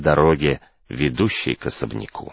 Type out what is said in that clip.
дороги ведущие к особняку